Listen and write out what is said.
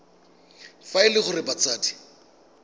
fa e le gore batsadi